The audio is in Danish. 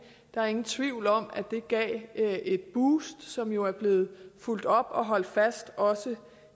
der er ingen tvivl om at det gav et boost som jo er blevet fulgt op og holdt fast også